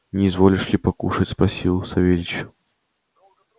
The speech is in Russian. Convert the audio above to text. не изволишь ли покушать спросил савельич